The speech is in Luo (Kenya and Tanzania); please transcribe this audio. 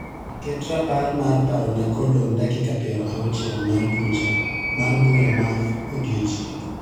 Ket rapar mar parona kodong' dakika piero auchiel mar bucha mar bura mar odiechieng'.